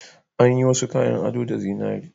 An yi wasu kayan ado da zinariya